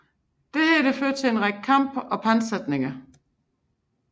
Dette førte til en række kampe og pantsætninger